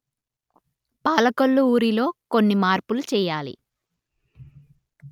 పాలకొల్లు ఊరిలో కొన్ని మార్పులు చేయాలి